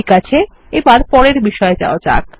ঠিক আছে এবার পরের বিষয়ে যাওয়া যাক